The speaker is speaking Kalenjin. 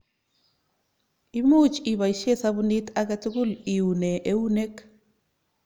Imuch ipoisye sapunit ake tukul iune eunek.